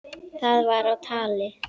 Það var á tali.